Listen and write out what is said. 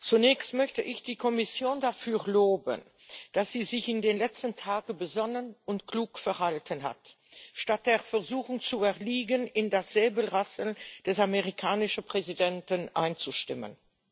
Zunächst möchte ich die Kommission dafür loben, dass sie sich in den letzten Tagen besonnen und klug verhalten hat, statt der Versuchung zu erliegen, in das Säbelrasseln des amerikanischen Präsidenten einzustimmen.